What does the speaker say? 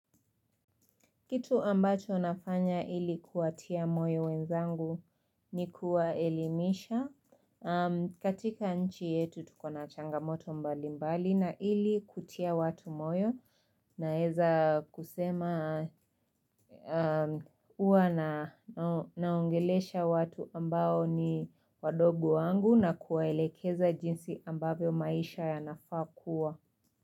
Kitu ambacho nafanya ili kuwatia moyo wenzangu ni kuwaelimisha katika nchi yetu tuko na changamoto mbali mbali na ili kutia watu moyo Naeza kusema huwa naongelesha watu ambao ni wadogo wangu na kuwaelekeza jinsi ambavyo maisha yanafaa kua.